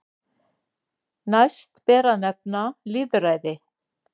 Næst ber að nefna lýðræði.